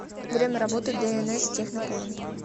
время работы днс технопоинт